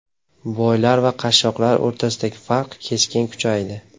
Boylar va qashshoqlar o‘rtasidagi farq keskin kuchaydi.